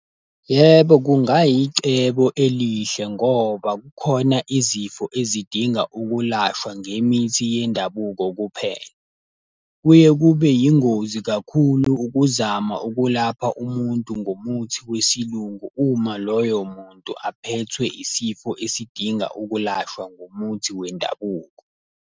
Yebo, kungayicebo elihle ngoba kukhona izifo ezidinga ukulashwa ngemithi yendabuko kuphela. Kuye kube yingozi kakhulu ukuzama ukulapha umuntu ngumuthi wesilungu uma loyo muntu aphethwe isifo esidinga ukulashwa ngomuthi wendabuko.